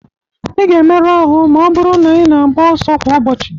Ị ga-emerụ ahụ ma ọ bụrụ na ị na-agba ọsọ kwa ụbọchị.